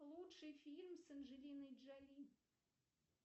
лучший фильм с анджелиной джоли